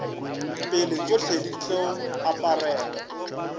pele tšohle di tlo aparelwa